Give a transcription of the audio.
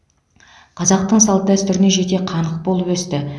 қазақтың салт дәстүріне жете қанық болып өсті